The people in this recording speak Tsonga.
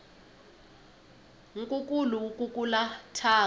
nkukulu wu kukula thyaka